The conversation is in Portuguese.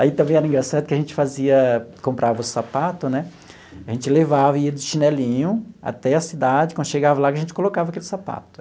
Aí também era engraçado que a gente fazia, comprava o sapato né, a gente levava e ia de chinelinho até a cidade, quando chegava lá, a gente colocava aquele sapato.